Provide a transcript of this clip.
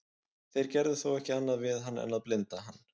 þeir gerðu þó ekki annað við hann en að blinda hann